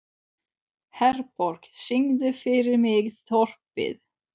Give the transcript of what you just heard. Herborg, syngdu fyrir mig „Þorpið“.